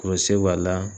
b'a la